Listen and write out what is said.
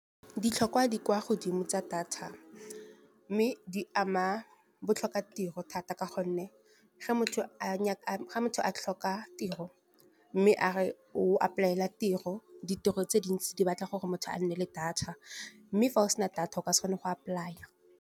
Ditlhokwa di kwa godimo tsa data mme di ama botlhokatiro thata. Ka gonne ga motho a tlhoka tiro, mme a re o apolaela tiro, ditiro tse dintsi di batla gore motho a nne le data. Mme fa o sena data ka se kgone go apolaya.